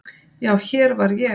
Já, hér var ég.